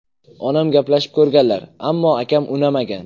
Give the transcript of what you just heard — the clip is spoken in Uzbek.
Onam gaplashib ko‘rganlar, ammo akam unamagan.